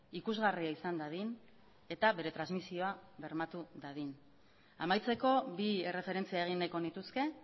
ikusgarria izan dadin eta bere transmizioa bermatu dadin amaitzeko bi erreferentzia egin nahiko nituzke